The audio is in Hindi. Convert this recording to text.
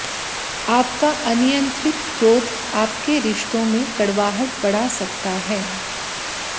आपका अनियंत्रित क्रोध आपके रिश्तों में कड़वाहट बढ़ा सकता है